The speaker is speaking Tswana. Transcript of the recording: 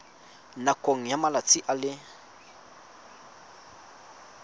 nakong ya malatsi a le